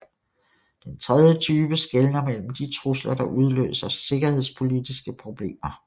Den tredje type skelner mellem de trusler der udløser sikkerhedspolitiske problemer